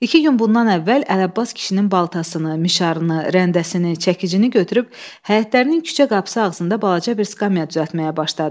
İki gün bundan əvvəl Ələbbas kişinin baltasını, mişarını, rəndəsini, çəkicini götürüb həyətlərinin küçə qapısı ağzında balaca bir skamya düzəltməyə başladı.